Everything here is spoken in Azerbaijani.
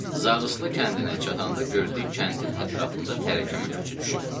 Zarısıqlı kəndinə çatanda gördük kəndin ətrafında tərəkkəmə köçü düşüb.